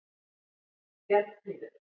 Bjarnfríður